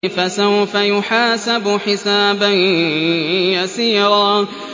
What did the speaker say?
فَسَوْفَ يُحَاسَبُ حِسَابًا يَسِيرًا